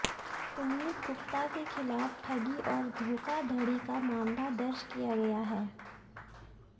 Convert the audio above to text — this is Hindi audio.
पुनीत गुप्ता के खिलाफ ठगी और धोखाधड़ी का मामला दर्ज किया गया है